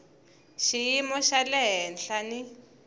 xiyimo xa le henhla ni